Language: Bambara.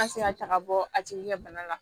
An tɛ se ka taaga bɔ a tigi ka bana la